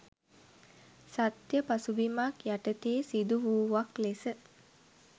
සත්‍ය පසුබිමක් යටතේ සිදුවූවක් ලෙස